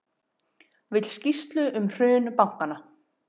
Vill skýrslu um hrun bankanna